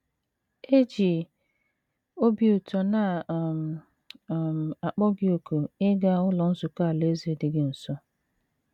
E ji obi ụtọ na um - um akpọ gị òkù ịga Ụlọ Nzukọ Alaeze dị gị nso.